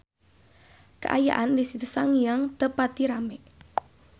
Kaayaan di Situ Sangiang teu pati rame